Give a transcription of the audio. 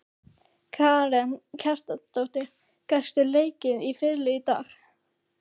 Karen Kjartansdóttir: Gastu leikið á fiðlu í dag?